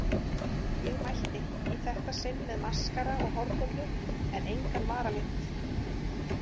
Ég mætti, í þetta sinn með maskara og hárkollu en engan varalit.